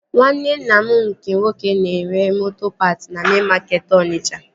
Nwanne nna m nke nwoke na-ere moto paat na mein makeetị Onitsha